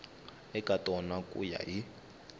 eka tona ku ya hi